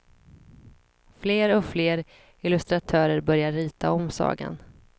Fler och fler illustratörer började rita om sagan.